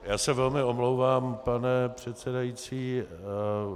Já se velmi omlouvám, pane předsedající.